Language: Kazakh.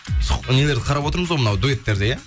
нелерді қарап отырмыз ғой мынау дуэттерді иә